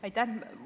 Aitäh!